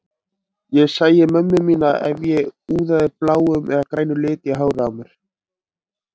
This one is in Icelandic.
Ég sæi mömmu mína ef ég úðaði bláum eða grænum lit í hárið á mér.